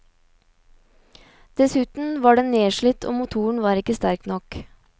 Dessuten var den nedslitt og motoren var ikke sterk nok.